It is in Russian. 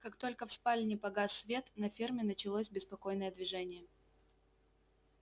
как только в спальне погас свет на ферме началось беспокойное движение